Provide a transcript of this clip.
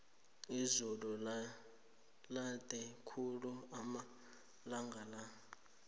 izulu lande khulu amalanga la